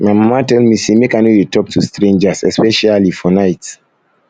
my mama tell me say make i no dey talk to strangers especially for night